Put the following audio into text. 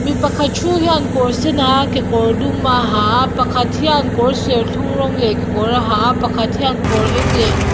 mi pakhat thu hian kawr sen a ha a kekawr dum a ha a pakhat hian kawr serthum rawng leh kekawr a ha a pakhat hian kawr eng leh--